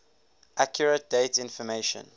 accurate date information